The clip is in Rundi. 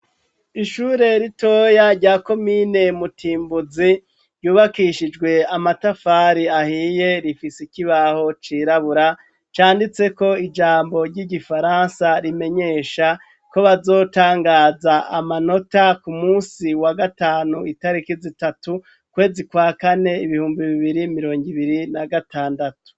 Ishure ritoya rya komine Mutimbuzi, ryubakishijwe amatafari ahiye, rifis'ikibaho cirabura canditseko ijambo ry'igifaransa rimenyesha ko bazotangaza amanota ku musi wa gatanu itariki zitatu, ukwezi kwa kane ibihumbi bibiri mirong' ibiri na gatandatu